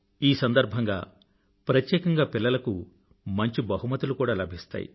ఈ సందర్భంగా ప్రత్యేకంగా పిల్లలకు మంచి బహుమతులు కూడా లభిస్తాయి